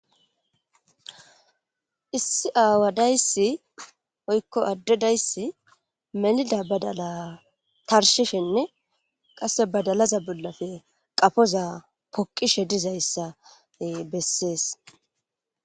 issi aawa dayssi oykko addedayssi melida badala tarshishenne qasse badalaza bollafe qafoza poqishe dizayssa bessees